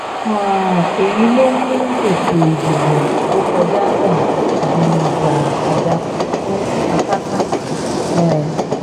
um èyí ló mú ètò ìdìbò tó kọjá náà di ìjà àjàkú akátá um